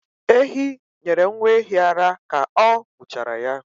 Ehi nyere nwa ehi ara ka ọ muchara ya